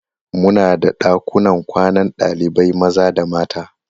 Muna da ɗakunan kwanan ɗalibai maza da mata.